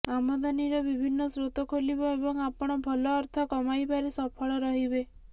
ଆମଦାନୀର ବିଭିନ୍ନ ସ୍ରୋତ ଖୋଲିବ ଏବଂ ଆପଣ ଭଲ ଅର୍ଥ କମାଇବାରେ ସଫଳ ରହିବେ